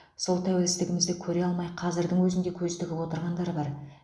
сол тәуелсіздігімізді көре алмай қазірдің өзінде көз тігіп отырғандар бар